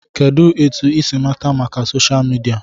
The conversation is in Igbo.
Kedụ etu I si mata maka soshal midia?